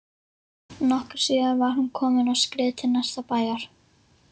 Nokkru síðar var hún komin á skrið til næsta bæjar.